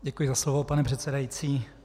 Děkuji za slovo, pane předsedající.